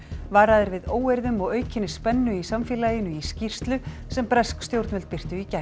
varað er við óeirðum og aukinni spennu í samfélaginu í skýrslu sem bresk stjórnvöld birtu í gær